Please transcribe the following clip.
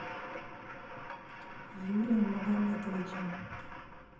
юрием магометовичем